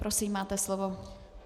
Prosím, máte slovo.